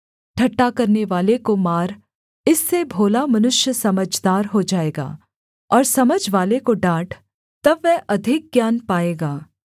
ठट्ठा करनेवाले को मार इससे भोला मनुष्य समझदार हो जाएगा और समझवाले को डाँट तब वह अधिक ज्ञान पाएगा